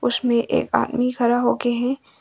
उसमें एक आदमी खड़ा हो के है।